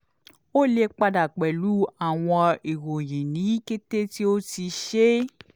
o le pada pẹlu awọn iroyin ni kete ti o ti ṣe